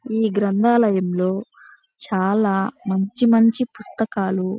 ఈ గ్రంథాలయంలో చాలా మంచి మంచి పుస్తకాలు --